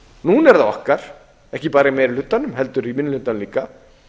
núna er það okkar ekki bara í meiri hlutanum heldur í minni hlutanum líka